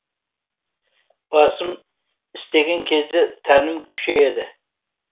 басым істеген кезде тәнім күшейеді